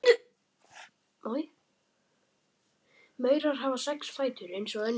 Maurar hafa sex fætur eins og önnur skordýr: